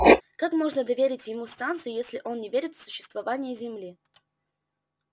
как можно доверить ему станцию если он не верит в существование земли